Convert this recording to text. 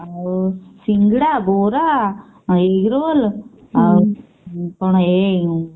ଆଉ ସିଙ୍ଗଡ଼ା ବରା egg roll ଆଉ କଣ ଏଇ